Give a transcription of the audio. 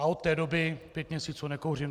A od té doby pět měsíců nekouřím.